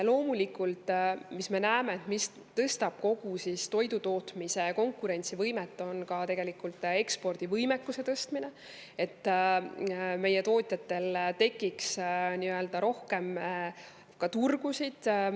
Loomulikult, me näeme, et kogu toidutootmise konkurentsivõimet tõstab tegelikult ekspordivõimekuse tõstmine, et meie tootjatel tekiks rohkem turgusid.